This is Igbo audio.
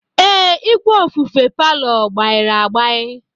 Ee, igwe ofufe palọ gbairi agbai.